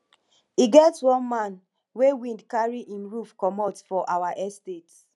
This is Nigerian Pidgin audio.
e get one man wey wind carry im roof comot for our estate